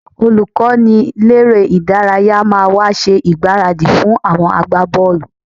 Olùkọ́niléré-ìdárayá máa wá ṣe ìgbáradì fún àwọn agbábọ́ọ̀lù